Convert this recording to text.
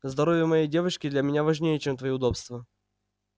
здоровье моей девочки для меня важнее чем твои удобства